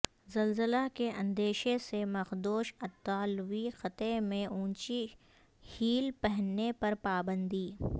زلزلہ کے اندیشہ سے مخدوش اطالوی خطے میں اونچی ہیل پہننے پر پابندی